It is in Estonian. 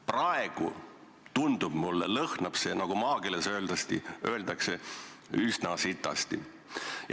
Praegu tundub mulle, et see lõhnab, nagu maakeeles öeldakse, üsna sitasti.